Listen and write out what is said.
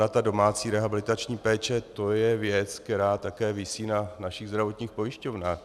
Ona ta domácí rehabilitační péče, to je věc, která také visí na našich zdravotních pojišťovnách.